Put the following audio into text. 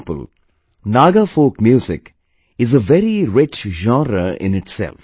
For example, Naga folk music is a very rich genre in itself